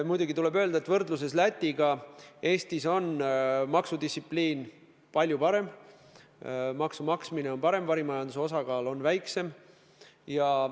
Muidugi tuleb öelda, et võrreldes Lätiga on Eestis maksudistsipliin palju parem, maksude maksmine on parem, varimajanduse osakaal on väiksem.